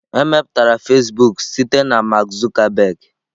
Emepụtara Fasịbụk site na Mark Zuckerberg.